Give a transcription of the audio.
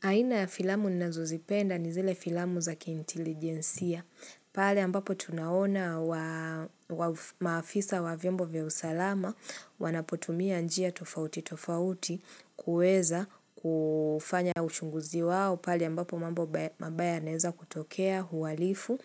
Aina ya filamu ninazo zipenda ni zele filamu za kiintilijensia. Pale ambapo tunaona wa maafisa wa vyombo vya usalama wanapotumia njia tofauti tofauti kuweza kufanya ushunguzi wao. Pale ambapo mambo mabaya yanaweza kutokea huwalifu